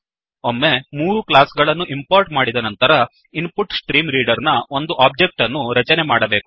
ಒಮ್ಮೆ ಮೂರು ಕ್ಲಾಸ್ ಗಳನ್ನು ಇಂಪೋರ್ಟ್ ಮಾಡಿದ ನಂತರ input stream reader input stream reader ನ ಒಂದು ಒಬ್ಜೆಕ್ಟ್ ಅನ್ನು ರಚನೆ ಮಾಡಬೇಕು